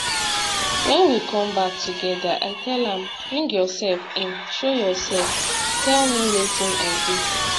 wen we come back togeda i tell am bring yourself in show yourself tell me wetin i dey